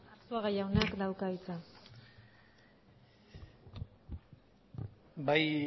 arzuaga jaunak dauka hitza bai